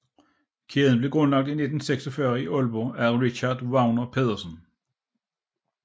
Kæden blev grundlagt i 1946 i Aalborg af Richard Wagner Pedersen